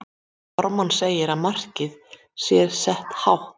Ármann segir að markið sé sett hátt.